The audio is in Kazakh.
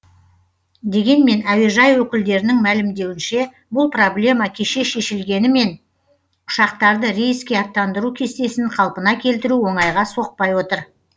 дегенмен әуежай өкілдерінің мәлімдеуінше бұл проблема кеше шешілгенімен ұшақтарды рейске аттандыру кестесін қалпына келтіру оңайға соқпай отыр